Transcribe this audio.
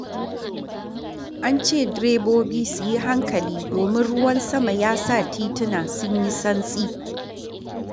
An ce direbobi su yi hankali domin ruwan sama ya sa tituna sun yi santsi.